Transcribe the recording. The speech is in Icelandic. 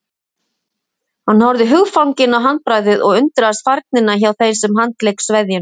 Hann horfði hugfanginn á handbragðið og undraðist færnina hjá þeim sem handlék sveðjuna.